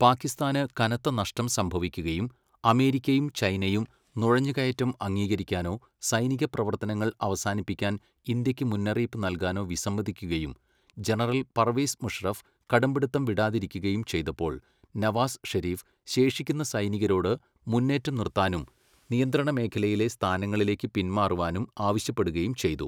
പാകിസ്ഥാന് കനത്ത നഷ്ടം സംഭവിക്കുകയും, അമേരിക്കയും ചൈനയും നുഴഞ്ഞുകയറ്റം അംഗീകരിക്കാനോ സൈനികപ്രവർത്തനങ്ങൾ അവസാനിപ്പിക്കാൻ ഇന്ത്യക്ക് മുന്നറിയിപ്പ് നൽകാനോ വിസമ്മതിക്കുകയും, ജനറൽ പർവേസ് മുഷറഫ് കടുംപിടുത്തം വിടാതിരിക്കുകയും ചെയ്തപ്പോൾ നവാസ് ഷെരീഫ് ശേഷിക്കുന്ന സൈനികരോട് മുന്നേറ്റം നിർത്താനും നിയന്ത്രണമേഖയിലെ സ്ഥാനങ്ങളിലേക്ക് പിന്മാറുവാനും ആവശ്യപ്പെടുകയും ചെയ്തു.